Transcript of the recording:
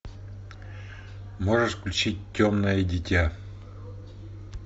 можешь включить темное дитя